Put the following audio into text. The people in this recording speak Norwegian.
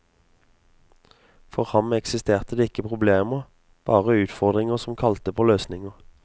For ham eksisterte det ikke problemer, bare utfordringer som kalte på løsninger.